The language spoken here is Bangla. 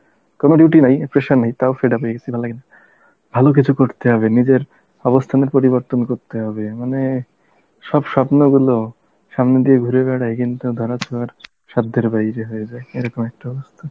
কোনো duty নাই, pressure নেই তাও fed up হয়ে গেছি ভাল্লাগেনা, ভালো কিছু করতে হবে নিজের অবস্থানের পরিবর্তন করতে হবে, মানে সব স্বপ্নগুলো সামনে দিয়ে ঘুরে বেড়ায় কিন্তু ধরা ছোঁয়ার সাধ্যের বাইরে হয়ে যায় এরকম একটা অবস্থা